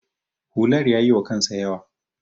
hular ya yiwa kansa yawa